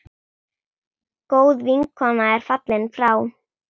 Góð vinkona er fallin frá.